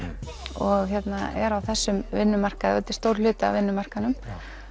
og er á þessum vinnumarkaði og þetta er stór hluti af vinnumarkaðnum